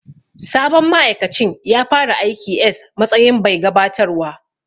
Sabon ma'aikacin ya fara aiki s matsayin bai gabatarwa.